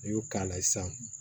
N'i y'o k'a la sisan